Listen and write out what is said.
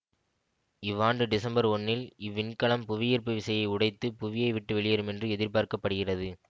இவ்வாண்டு டிசம்பர் ஒன்னில் இவ்விண்கலம் புவியீர்ப்பு விசையை உடைத்து புவியை விட்டு வெளியேறும் என எதிர்பார்க்க படுகிறது